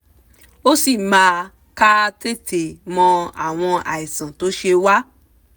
ó sì máa ká tètè mọ àwọn àìsàn tó ṣe wá